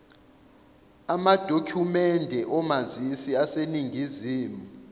amadokhumende omazisi aseningizimu